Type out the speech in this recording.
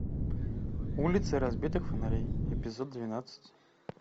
улицы разбитых фонарей эпизод двенадцать